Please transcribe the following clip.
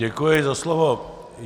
Děkuji za slovo.